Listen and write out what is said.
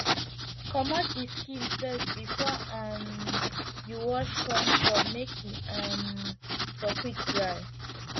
comot d first skin before um you wash corn cob make e um for quick dry